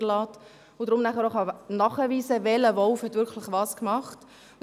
Deshalb kann man nachher auch nachweisen, welcher Wolf wirklich was gemacht hat.